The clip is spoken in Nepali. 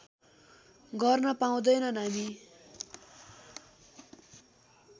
गर्न पाउँदैनन् हामी